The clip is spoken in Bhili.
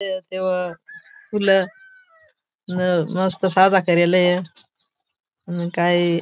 तेवा फुल न मस्त सादा करेल य न काई--